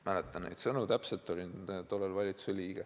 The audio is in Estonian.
Mäletan neid sõnu täpselt, olin tollal valitsuse liige.